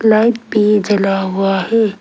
Light भी जला हुआ है।